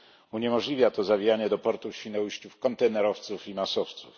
Uniemożliwia to zawijanie do portu w Świnoujściu kontenerowców i masowców.